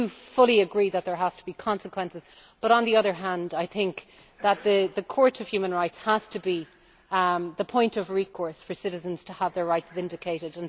I fully agree that there have to be consequences, but, on the other hand, I think the Court of Human Rights has to be the point of recourse for citizens to have their rights vindicated.